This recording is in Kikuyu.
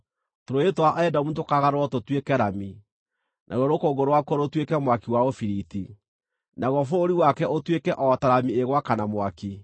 Tũrũũĩ twa Edomu tũkaagarũrwo tũtuĩke rami, naruo rũkũngũ rwakuo rũtuĩke mwaki wa ũbiriti; naguo bũrũri wake ũtuĩke o ta rami ĩgwakana mwaki!